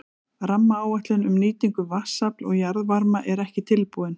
Rammaáætlun um nýtingu vatnsafls og jarðvarma er ekki tilbúin.